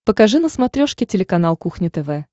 покажи на смотрешке телеканал кухня тв